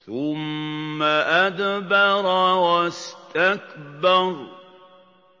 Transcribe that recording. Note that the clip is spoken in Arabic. ثُمَّ أَدْبَرَ وَاسْتَكْبَرَ